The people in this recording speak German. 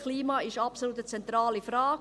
«Das Klima ist eine absolut zentrale Frage.